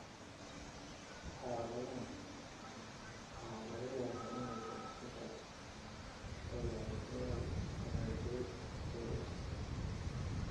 Xaaladahan, waxaa laga yaabaa inaysan xitaa ogaanin inay saameysay KS.